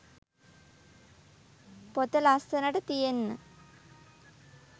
පොත ලස්සනට තියෙන්න